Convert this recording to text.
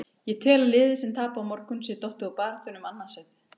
Ég tel að liðið sem tapi á morgun sé dottið úr baráttunni um annað sætið.